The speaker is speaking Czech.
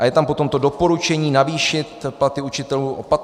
A je tam potom to doporučení navýšit platy učitelů o 15 % atd.